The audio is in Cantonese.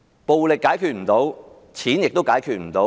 暴力解決不到，金錢也解決不到。